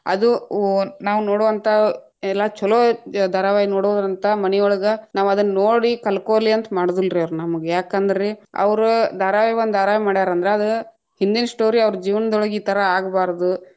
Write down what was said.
ಅದು ಉ ನಾವ್‌ ನೋಡುವಂಹ ಎಲ್ಲಾ ಛಲೋ ಇ ಧಾರಾವಾಹಿ ನೋಡುದ್ರಿಂತ ಮನಿಯೊಳಗ ನಾವ್‌ ಅದನ್ನೋಡಿ ಕಲಕೋಲಿ ಅಂತ ಮಾಡುದಿಲ್ರೀ ಅವ್ರ ನಮ್‌ಗ್ಯಾಕಂದ್ರಿ, ಅವ್ರ್‌ ಧಾರಾವಾಯಿ ಒಂದ್‌ ಧಾರಾವಾಹಿ ಮಡ್ಯಾರಂದ್ರ ಅದ್‌ ಹಿಂದಿನ story ಅವ್ರ ಜೀವನದೊಳಗ ಈ ಥರಾ ಆಗಬಾರದು.